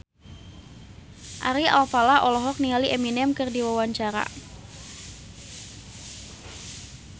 Ari Alfalah olohok ningali Eminem keur diwawancara